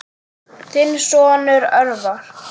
Þinn sonur, Örvar.